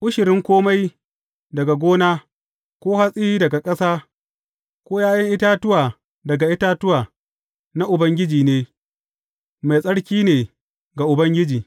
Ushirin kome daga gona, ko hatsi daga ƙasa, ko ’ya’yan itatuwa daga itatuwa, na Ubangiji ne, mai tsarki ne ga Ubangiji.